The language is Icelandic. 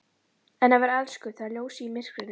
En að vera elskuð það er ljósið í myrkrinu!